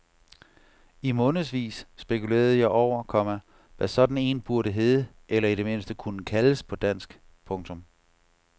I månedsvis spekulerede jeg over, komma hvad sådan en burde hedde eller i det mindste kunne kaldes på dansk. punktum